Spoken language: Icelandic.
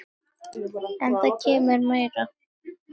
En það kemur meira til.